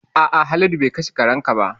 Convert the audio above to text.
A'a Haladu be kashe karen ka ba